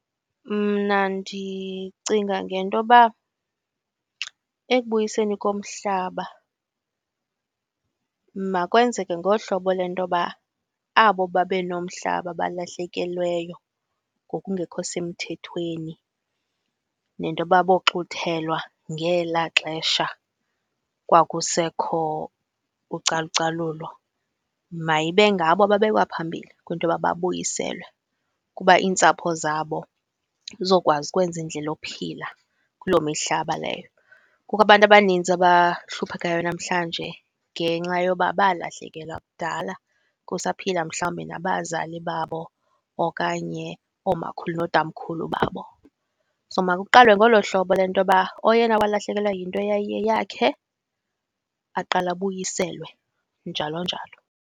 Mna ndicinga ngentoba ekubuyiseni komhlaba makwenzeke ngolu hlobo lentoba abo babe nomhlaba balahlekelweyo ngokungekho semthethweni nentoba boxuthelwa ngelaa xesha kwakusekho ucalucalulo mayibe ngabo ababekwa phambili kwinto yoba babuyiselwe kuba iintsapho zabo zizokwazi ukwenza indlela yophila kuloo mihlaba leyo. Kukho abantu abaninzi abahluphekayo namhlanje ngenxa yoba balahlekelwa kudala kusaphila mhlawumbi nabazali babo okanye oomakhulu nootamkhulu babo. So makuqalwe ngolo hlobo lentoba oyena owalahlekelwa yinto eyayiyeyakhe aqale abuyiselwe, njalo njalo.